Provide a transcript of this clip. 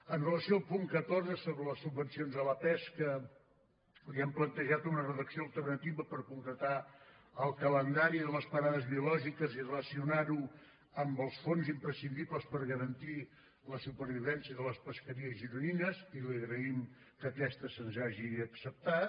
amb relació al punt catorze sobre les subvencions a la pesca li hem plantejat una redacció alternativa per concretar el calendari de les parades biològiques i relacionar ho amb els fons imprescindibles per garantir la supervivència de les pesqueries gironines i li agraïm que aquesta se’ns hagi acceptat